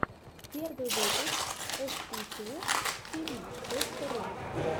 первый выпуск эсситутиви точка ру